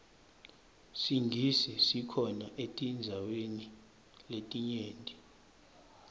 singisi sikhona etindzaweni letinyenti